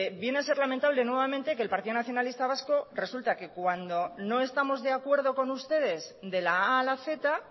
viene a ser lamentable nuevamente que el partido nacionalista vasco resulta que cuando no estamos de acuerdo con ustedes de la a a la z